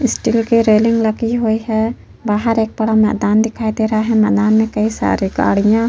steel की railing लगी हुई है बाहर एक बड़ा मैदान दिखाई दे रहा है मैदान में कई सारे गाड़ियां --